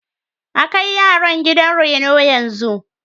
A kai yaran gidan reno yanzu.